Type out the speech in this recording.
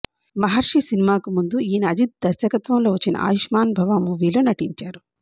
మహర్షి సినిమాకు ముందు ఈయన అజిత్ దర్శకత్వంలో వచ్చిన ఆయుష్మాన్ భవ మూవీలో నటించారు